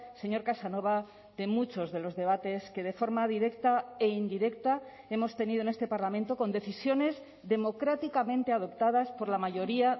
señor casanova de muchos de los debates que de forma directa e indirecta hemos tenido en este parlamento con decisiones democráticamente adoptadas por la mayoría